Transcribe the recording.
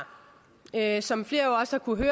her som flere også har kunnet